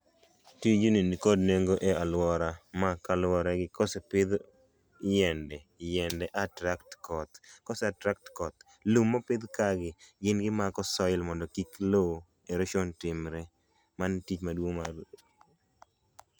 Tijni ni kod nengo e a luora ma kaluwore gi kose pidh yiende yiende attract koth kose attract koth ,lum mopidh kae gi gin gimako soil mondo gik lo erosion otimre mano e tich maduong magi timo.